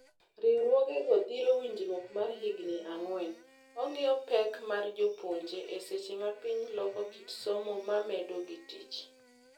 Riwruoge go dhiro winjruok mar higni ang'wen. Ong'io pek mar jopuonje e seche mapiny loko kit somo mamedo gi tich.